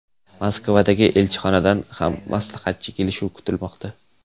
Moskvadagi elchixonadan ham maslahatchi kelishi kutilmoqda.